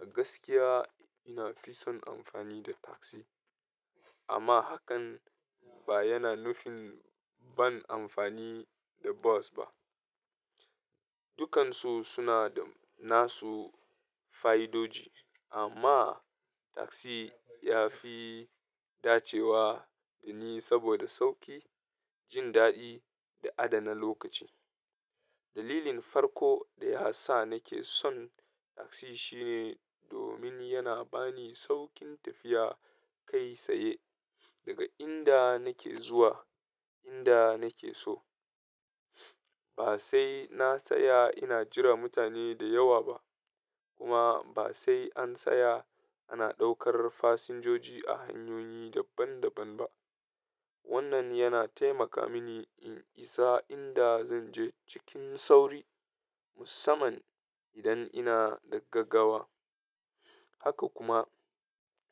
A gaskiya na fi son amfani da takzi, amma hakan ba yana nufin ban amfani da bos ba. Dukansu suna da nasu fa'idodi, amma takzi ya fi dacewa da ni saboda sauƙi, jin daɗi da adana lokaci. Dalilin farko da ya sa nake son takzi shine domin yana bani sauƙin tafiya kai tsaye daga inda nake zuwa inda nake so. Ba sai na tsaya ina jiran mutane da yawa ba, kuma ba sai an tsaya ana ɗaukar fasinjoji a hanyoyi daban-daban ba. Wannan yana taimaka mini in isa inda zan je cikin sauri, musamman idan ina da gaggawa. Haka kuma,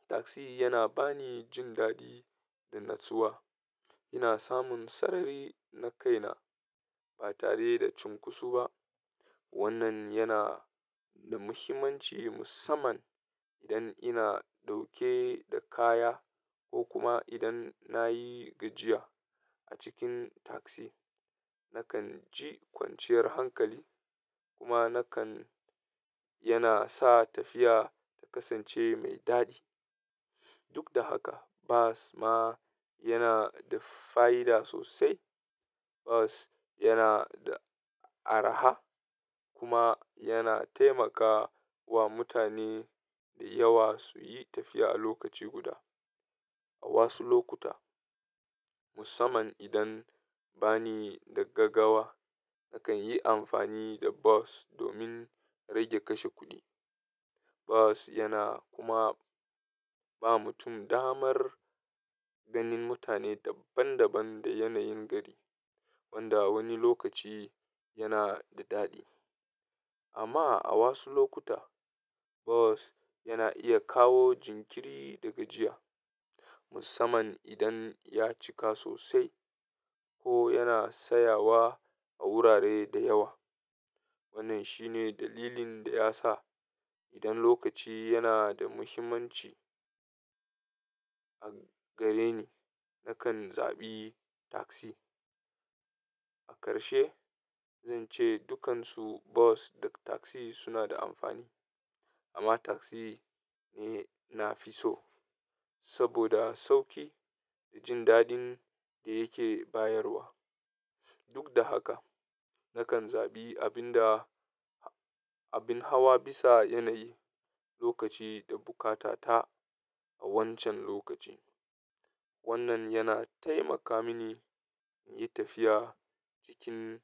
takzi yana bani jin daɗi da natsuwa. Ina samun sarari na kaina ba tare da cunkusu ba. Wannan yana da muhimmanci musamman idan ina ɗauke da kaya ko kuma idan na yi gajiya. A cikin taksi, nakan ji kwanciyar hankali kuma nakan yana sa tafiya ta kasance mai daɗi. Duk da haka, bas ma yana da fa'ida sosai. Bos yana da araha kuma yana taimaka wa mutane da yawa su yi tafiya a lokaci guda. A wasu lokuta, musamman idan bani da gaggawa, nakan yi amfani da bas domin rage kashe kuɗi. Bas yana kuma ba mutum damar ganin mutane daban-daban da yanayin gari, wanda wani lokaci yana da daɗi. Amma a wasu lokuta, bas yana iya kawo jinkiri da gajiya, musamman idan ya cika sosai ko yana tsayawa a wurare da yawa. Wannan shine dalilin da ya sa idan lokaci yana da muhimmanci a gare ni, nakan zaɓi takzi. A karshe, zan ce dukansu bas da taksi suna da amfani, amma taksi ne na fi so saboda sauki da jin daɗin da yake bayarwa. Duk da haka, nakan zaɓi abin hawa bisa yanayi, lokaci da buƙata ta a wancan lokacin. Wannan yana taimaka mini in yi tafiya cikin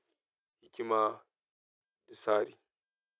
hikima da tsari.